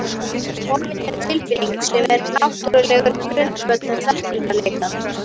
Forvitni er tilfinning sem er náttúrulegur grundvöllur þekkingarleitar.